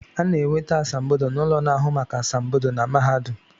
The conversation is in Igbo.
A na-enweta asambodo n’ụlọ na-ahụ maka asambodo na mahadum